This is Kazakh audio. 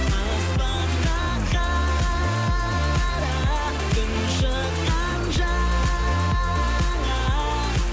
аспанға қара күн шыққан жаңа